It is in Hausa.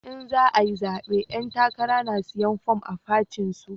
In za ayi zabe 'yan takara na siyan form a fatin su